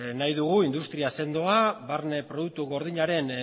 nahi dugu industri sendoa barne produktu gordinaren